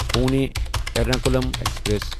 Pune Ernakulam express